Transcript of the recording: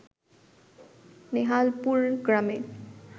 নেহালপুর গ্রামে